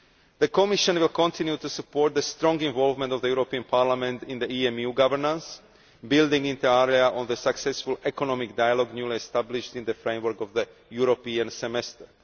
The Commission will continue to support the strong involvement of this Parliament in EMU governance, building inter alia on the successful Economic Dialogue newly established in the framework of the European Semester.